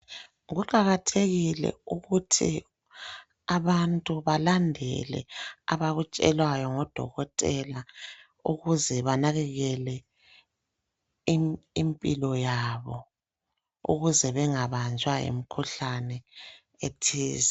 Kuqakathekile ukuthi abantu balandele abakutshelwayo ngodokotela ukuze benakekele impilo yabo ukuze bengabanjwa yimkhuhlane ethize.